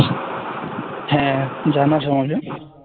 হ্যাঁ জানাস আমাকে